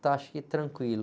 Então, acho que tranquilo.